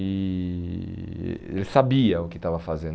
E eh ele sabia o que estava fazendo.